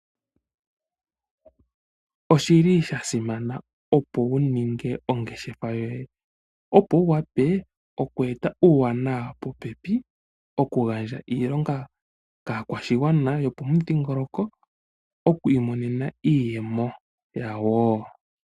Oshili Sha simana opo wuninge ongeshefa yoye opo wuwape okweta uuwanawa popepi, okugandja iilonga ka kwashingwana yo po dhingoloko, okwi monena iiyemo wo.